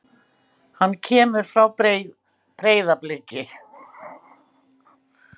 Hann kemur frá Breiðabliki.